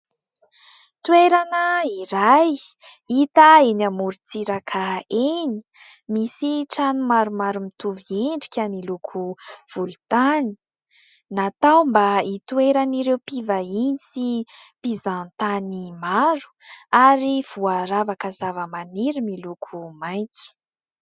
Toerana iray hita eny amorontsiraka eny. Misy trano maromaro mitovy endrika miloko volontany, natao mba hitoeran'ireo mpivahiny sy mpizahantany maro ary voaravaka zava-maniry miloko maitso.